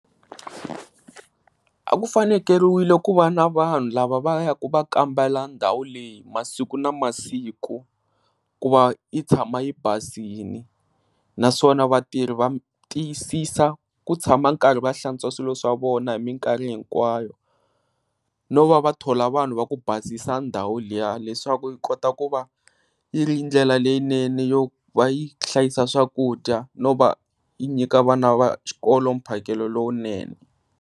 A ku fanekeriwile ku va na vanhu lava va ya ka ku va kambela ndhawu leyi masiku na masiku ku va yi tshama i basile. Naswona vatirhi tiyisisa ku tshama nkarhi va hlantswa swilo swa vona hi minkarhi hinkwawo, no va va thola vanhu va ku basisa ndhawu liya leswaku i kota ku va i ri ndlela leyinene yo va y hlayisa swakudya na ku va yi nyika vana va xikolo mphakelo lowunene.